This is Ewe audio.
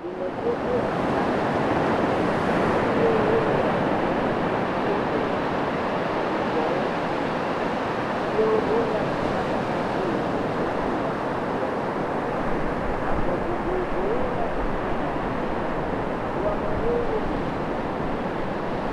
Dumeviwo ko aflaga ɖe ashi ye wole enu ƒom tso edumenyadzɔdzɔwo ŋuti. Ye wolé aflaga ɖe ashi le zɔzɔm le ablɔdzi. Ame vovowoe lé aflaga ɖe ashi. Wo ame aɖewo ɖo gaŋkui.